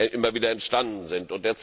immer wieder entstanden sind.